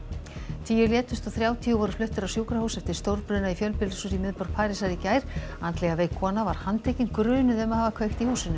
tíu létust og þrjátíu voru fluttir á sjúkrahús eftir stórbruna í fjölbýlishúsi í miðborg Parísar í gær andlega veik kona var handtekin grunuð um að hafa kveikt í húsinu